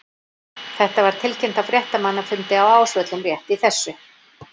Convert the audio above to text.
Þetta var tilkynnt á fréttamannafundi á Ásvöllum rétt í þessu.